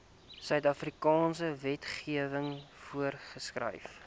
suidafrikaanse wetgewing voorgeskryf